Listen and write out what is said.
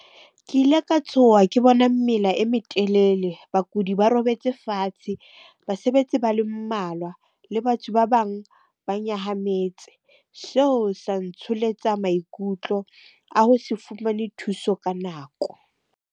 Ke ile ka tshoha ke bona mela e metelele, bakudi ba robetse fatshe, basebetsi ba le mmalwa, le batho ba bang ba nyahametse. Seo sa ntsholetsa maikutlo a ho se fumane thuso ka nako.